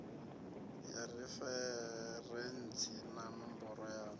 ya referentsi na ṋomboro ya